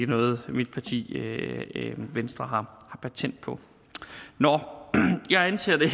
noget mit parti venstre har patent på jeg anser det